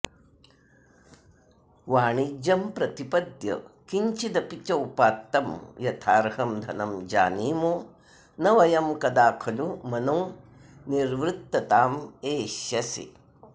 वाणिज्यं प्रतिपद्य किञ्चिदपि चोपात्तं यथार्हं धनं जानीमो न वयं कदा खलु मनो निर्वृत्ततामेष्यसि